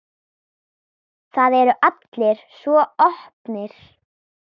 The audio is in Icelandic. Það eru allir svo opnir.